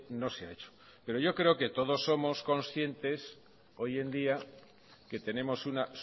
no se ha hecho pero yo creo que todos somos conscientes hoy en día que tenemos una